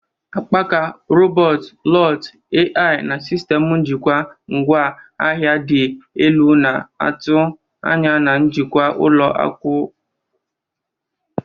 Akpaaka, robot, IoT, AI, na sistemụ njikwa ngwa ahịa dị elu na-atụ anya na njikwa ụlọ nkwakọba ihe.